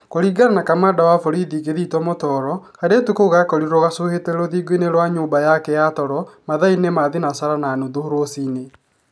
Kuringana na Kamanda wa borithi Kithito Mutoro, kairĩtu kau karakorirwo gacuhĩĩte rũthingo-inĩ rwa nyumba yake ya toro mathainĩ ma thinacara na nuthu rũcine